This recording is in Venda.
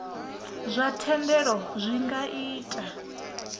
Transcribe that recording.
zwa thendelo zwi nga ita